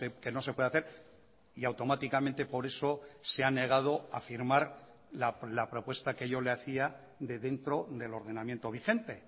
que no se puede hacer y automáticamente por eso se ha negado a firmar la propuesta que yo le hacía de dentro del ordenamiento vigente